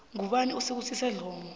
ngubani usibusiso dlomo